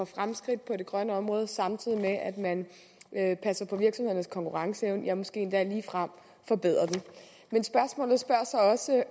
fremskridt på det grønne område samtidig med at man passer på virksomhedernes konkurrenceevne ja måske endda ligefrem forbedrer den men